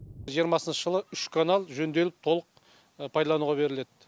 жиырмасыншы жылы үш канал жөнделіп толық пайдалануға беріледі